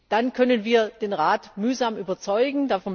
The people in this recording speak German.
Dann können wir den Rat mühsam überzeugen.